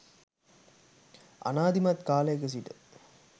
අනාදිමත් කාලයක සිට